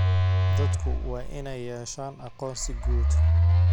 Dadku waa inay yeeshaan aqoonsi guud.